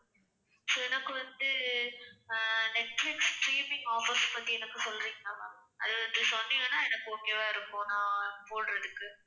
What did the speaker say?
so எனக்கு வந்து அஹ் நெட்பிலிஸ் streaming offers பத்தி எனக்குச் சொல்றீங்களா ma'am? அது வந்து சொன்னீங்கன்னா எனக்கு okay வா இருக்கும் நான் போடுறதுக்கு.